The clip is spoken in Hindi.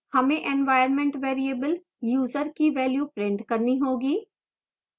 हमें environment variable user की value print करनी होगी